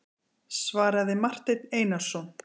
svaraði Marteinn Einarsson.